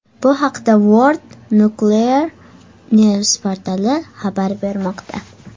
Bu haqda World Nuclear News portali xabar bermoqda .